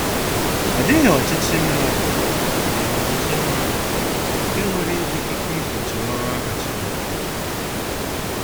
Ọ dịghị ọchịchị mmadụ dịghị ọchịchị mmadụ nke nwere ikike igbochi ọrụ ahụ Chineke nyere.